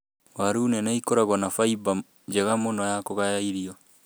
Waru nene ĩkoragwo na fiber njega mũno ya kũgaya irio.